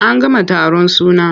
An gama taron suna.